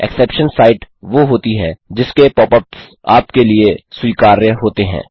exceptions site वो होती हैं जिसके पॉप अप्स आपके लिए स्वीकार्य होते हैं